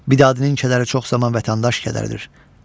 Bir adın kədəri çox zaman vətəndaş kədərdir.